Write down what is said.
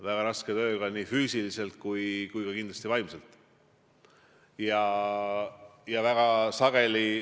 Väga raske tööga nii füüsiliselt kui ka kindlasti vaimselt.